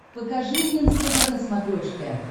покажи мне нств на смотрешке